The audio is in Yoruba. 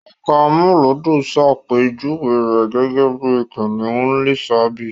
Ẹka amúlùúdùn ṣàpèjúwe rẹ̀ gẹ́gẹ́ bí Kìnìún Lísàbí.